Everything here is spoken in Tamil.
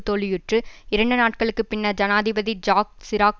தோல்வியுற்று இரண்டு நாட்களுக்கு பின்னர் ஜனாதிபதி ஜாக் சிராக்